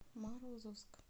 морозовск